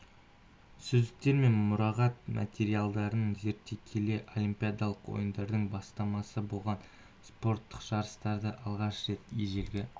сөздіктер мен мұрағат материалдарын зерттей келе олимпиадалық ойындардың бастамасы болған спорттық жарыстарды алғаш рет ежелгі